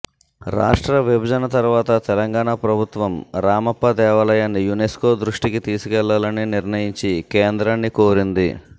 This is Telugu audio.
రాష్ట్ర విభజన తర్వాత తెలంగాణ ప్రభుత్వం రామప్ప దేవాలయాన్ని యునెస్కో దృష్టికి తీసుకెళ్లాలని నిర్ణయించి కేంద్రాన్ని కోరింది